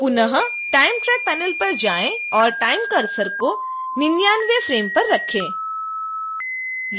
पुनः time track panel पर जाएं और time cursor को 99वें फ्रेम पर रखें